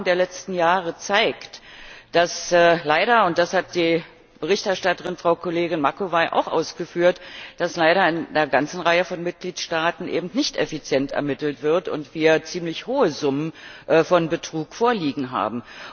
Die Erfahrung der letzten Jahre zeigt, dass leider das hat die Berichterstatterin, Frau Macovei, auch ausgeführt in einer ganzen Reihe von Mitgliedstaaten eben nicht effizient ermittelt wird und wir ziemlich hohe Summen von Betrug vorliegen haben.